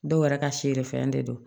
Dɔw yɛrɛ ka siri fɛn de don